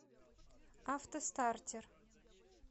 автостартер